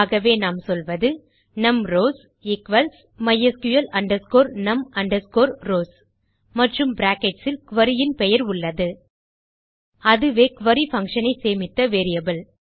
ஆகவே நாம் சொல்வது num rows equals mysql num rows மற்றும் பிராக்கெட்ஸ் இல் குரி இன் பெயர் உள்ளது அதுவே குரி பங்ஷன் ஐ சேமித்த வேரியபிள்